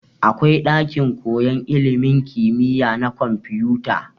Akwai ɗakin koyan ilimin kimiya na kwamfuta.